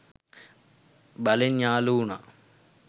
බලෙන් යාළු වුණා.